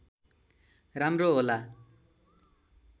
राम्रो होला